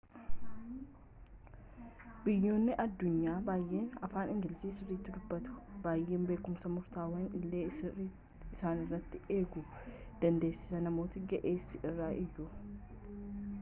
biyyoonni addunyaa baayyeen afaan ingiliiziii sirriitti dubbatu baayyee beekumsa murtawaa illee isaanirraa eeguu dandeessa namoota ga'eessa irraa iyyuu